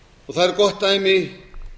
og það er gott dæmi